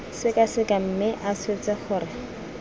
sekaseka mme a swetse gore